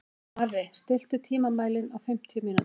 Marri, stilltu tímamælinn á fimmtíu mínútur.